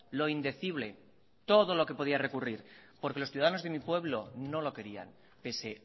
lo indecible todo lo que podía recurrir porque los ciudadanos de mi pueblo no lo querían pese